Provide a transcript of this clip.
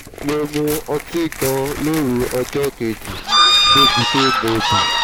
mo mu ọtí gan-an lóru ọjọ́ kejì débi pé mo bì